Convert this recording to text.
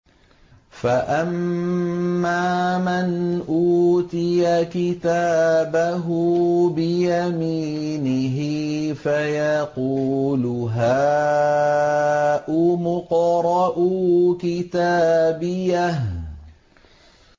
فَأَمَّا مَنْ أُوتِيَ كِتَابَهُ بِيَمِينِهِ فَيَقُولُ هَاؤُمُ اقْرَءُوا كِتَابِيَهْ